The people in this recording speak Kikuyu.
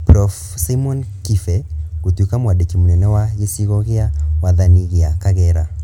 Prof. Simon Kibe gũtuĩka mwandĩki mũnene wa gĩcigo gĩa wathani gĩa Kagera.